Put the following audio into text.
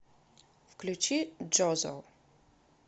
включи джозо